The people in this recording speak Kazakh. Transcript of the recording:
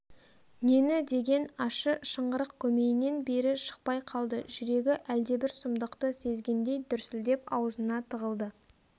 нені деген ащы шыңғырық көмейінен бері шықпай қалды жүрегі әлдебір сұмдықты сезгендей дүрсілдеп аузына тығылды